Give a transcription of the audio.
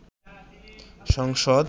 সংসদ